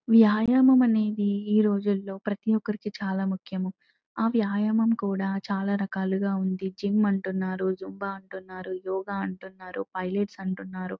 వ్యాయామం అనేది ఈ రోజుల్లో ప్రతి ఒక్కరికి చాలా ముఖ్యము ఆ వ్యాయామం కూడా చాలా రకాలు గా ఉంది జిమ్ అంటున్నారు జుంబా అంటున్నారు యోగా అంటున్నారు పైలెట్స్ అంటున్నారు.